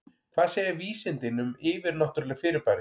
Hvað segja vísindin um yfirnáttúrleg fyrirbæri?